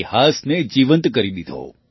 ઇતિહાસને જીવંત કરી દીધો